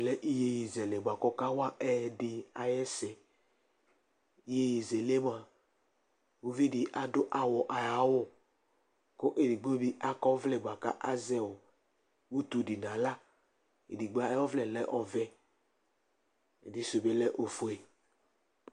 Ɛvɛ lɛ iyeye zɛlɛ nua k'ɔka ea ɛyɛdi ay'ɛsɛ Iyeye zɛlɛ mua, uvi di adʋ awɔ ay'awʋ kʋ edigbo bi ak'ɔvlɛ bua ka azɛ ɔɔ utu di n'aɣla Edigbo ay'ɔvlɛ lɛ ɔvɛ, ɛdi sʋ bi lɛ ofue